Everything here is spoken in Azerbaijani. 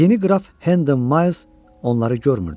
Yeni qraf Hendon Miles onları görmürdü.